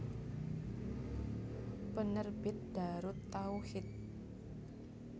Penerbit Daarut Tauhid